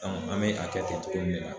an bɛ a kɛ ten cogo min de la.